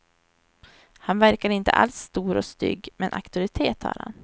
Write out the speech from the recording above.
Han verkar inte alls stor och stygg, men auktoritet har han.